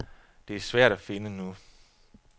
Det er svært at finde nu.